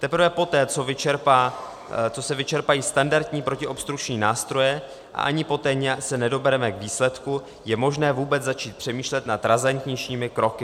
Teprve poté, co se vyčerpají standardní protiobstrukční nástroje a ani poté se nedobereme k výsledku, je možné vůbec začít přemýšlet nad razantnějšími kroky.